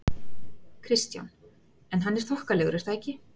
Kristján: En hann er þokkalegur er það ekki?